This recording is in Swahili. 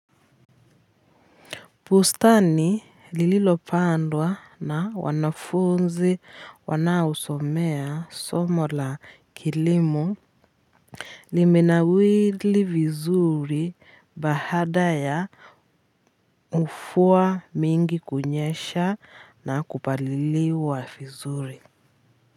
Bustani lililopandwa na wanafunzi wanaosomea somo la kilimo limenawiri vizuri baada ya mvua mingi kunyesha na kupaliliwa vizuri.